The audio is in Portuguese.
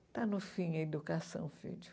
Está no fim a educação, filho.